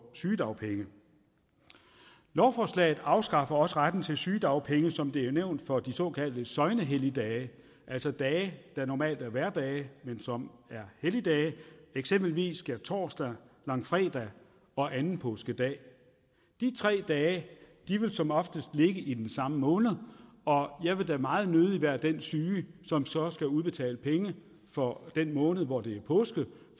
sygedagpenge lovforslaget afskaffer også retten til sygedagpenge som det er nævnt for de såkaldte søgnehelligdage altså dage der normalt er hverdage men som er helligdage eksempelvis skærtorsdag langfredag og anden påskedag de tre dage vil som oftest ligge i den samme måned og jeg vil da meget nødig være den syge som så skal have udbetalt penge for den måned hvor det er påske